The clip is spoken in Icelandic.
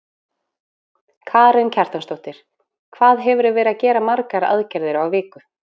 Karen Kjartansdóttir: Hvað hefurðu verið að gera margar aðgerðir á viku?